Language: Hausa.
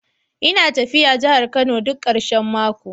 Ina tafiya jihar Kano duk karshen mako